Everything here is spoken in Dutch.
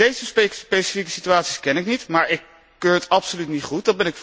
Deze specifieke situaties ken ik niet, maar ik keur het absoluut niet goed.